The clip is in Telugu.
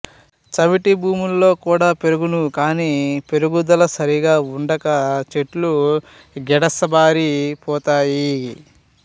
చవిటి భూముల్లో కుడా పెరుగును కాని పెరుగుదల సరిగా వుండక చెట్లు గిడసబారి పోతాయి